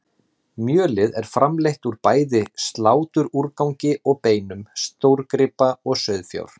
Mjölið er framleitt úr bæði sláturúrgangi og beinum stórgripa og sauðfjár.